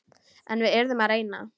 En við yrðum að reyna.